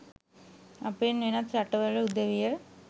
අපෙන් වෙනත් රටවල් උදවිය